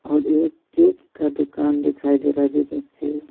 और एक केक का दुकान दिखाई दे रहा है जिसमें से--